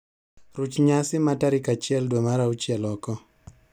Ruch nyasi ma tarik achiel dwe mar auchiel oko.